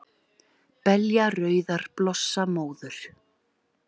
Belja rauðar blossa móður,